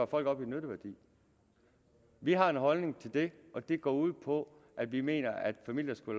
folk op i nytteværdi vi har en holdning til det og den går ud på at vi mener at familier skal